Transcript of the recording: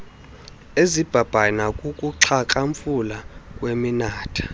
ezibhabhayo nakukuxhakamfula kweminatha